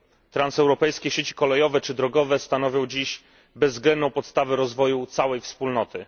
Transeuropejskie sieci kolejowe czy drogowe stanowią dziś bezwzględną podstawę rozwoju całej Wspólnoty.